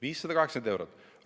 580 eurot!